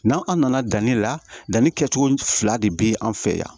N'an nana danni la danni kɛcogo fila de be an fɛ yan